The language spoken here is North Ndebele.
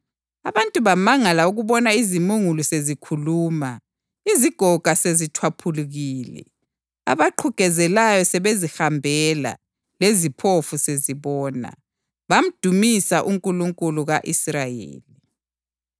Abantu bamangala ukubona izimungulu sezikhuluma, izigoga sezitshwaphulukile, abaqhugezelayo sebezihambela leziphofu sezibona. Bamdumisa uNkulunkulu ka-Israyeli.